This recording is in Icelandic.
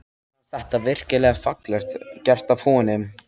Mér fannst þetta virkilega fallega gert af honum.